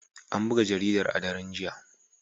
An buga jaridar a daren jiya.